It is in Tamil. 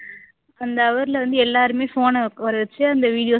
அந்த hour ல வந்து எல்லாருமே phone அ உக்கார வச்சு அந்த videos